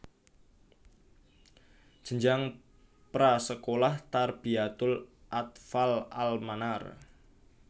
Jenjang pra sekolah Tarbiyatul Athfaal al Manar